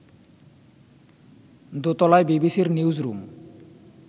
দোতলায় বিবিসির নিউজরুম